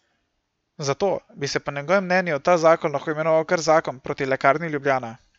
Zato bi se po njegovem mnenju ta zakon lahko imenoval kar zakon proti Lekarni Ljubljana.